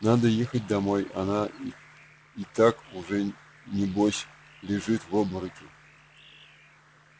надо ехать домой она и так уж небось лежит в обмороке